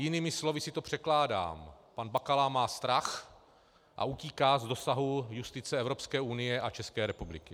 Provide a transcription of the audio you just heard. Jinými slovy si to překládám - pan Bakala má strach a utíká z dosahu justice Evropské unie a České republiky.